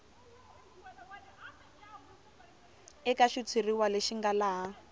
eka xitshuriwa lexi nga laha